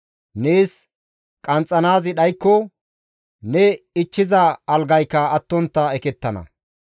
Neessi qanxxizaazi dhaykko, ne ichchiza algayka attontta ekettana.